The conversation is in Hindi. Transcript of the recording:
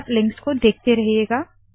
साइलैब लिंक्स को देखते रहिएगा